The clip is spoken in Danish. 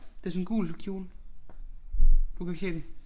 Det sådan en gul kjole. Du kan ikke se den